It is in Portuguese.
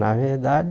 Na realidade